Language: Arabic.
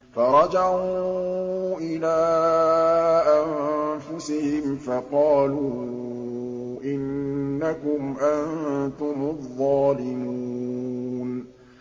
فَرَجَعُوا إِلَىٰ أَنفُسِهِمْ فَقَالُوا إِنَّكُمْ أَنتُمُ الظَّالِمُونَ